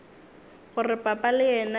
gore papa le yena e